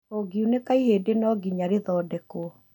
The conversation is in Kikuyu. ũngiunĩka ihĩndĩ no nginya rĩthondekwo